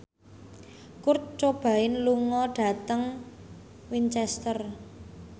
Kurt Cobain lunga dhateng Winchester